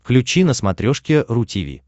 включи на смотрешке ру ти ви